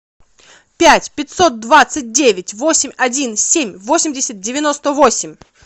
пять пятьсот двадцать девять восемь один семь восемьдесят девяносто восемь